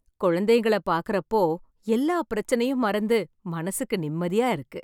குழந்தைங்கள பார்க்கிற அப்போ எல்லா பிரச்சனையும் மறந்து மனசுக்கு நிம்மதியா இருக்கு